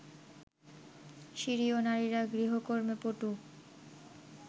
সিরীয় নারীরা গৃহকর্মে পটু